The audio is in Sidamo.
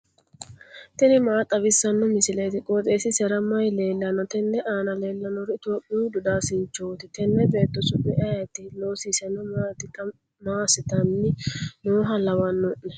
tini maa xawissanno misileeti? qooxeessisera may leellanno? tenne aana leellannori itophiyuu dodaasinchooti. tenne beetto su'mi ayeeti? loosiseno maati? xa massitanni nooha lawanno'ne?